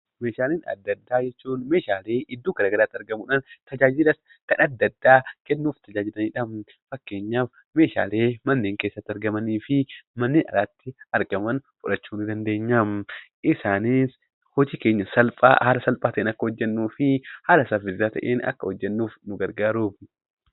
Meeshaalee adda addaa jechuun meeshaalee iddoo gara garaatti argamuudhan tajaajilla kan adda addaa kennuuf tajaajilanidha. Fakkeenyaaf ,meeshaalee manneen keessatti argamanii fi manneen alatti argaman fudhachuu ni dandeenyam. Isaanis hojii keenya salphaa haala salphaa ta'een akka hojjennuufi haala saffisaa ta'een akka hojjennuuf nu gargaaru.